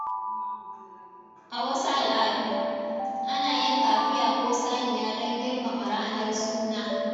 A wasu al’adu, ana yanka akuya ko saniya don girmama ranar suna.